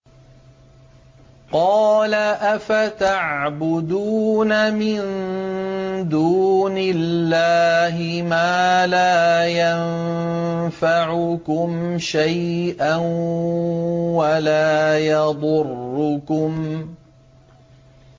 قَالَ أَفَتَعْبُدُونَ مِن دُونِ اللَّهِ مَا لَا يَنفَعُكُمْ شَيْئًا وَلَا يَضُرُّكُمْ